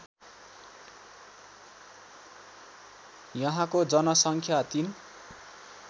यहाँको जनसङ्ख्या ३